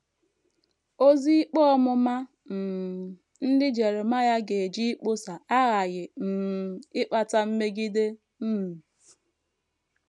Ozi ikpe ọmụma um ndị Jeremaịa gaje ịkpọsa aghaghị um ịkpata mmegide. um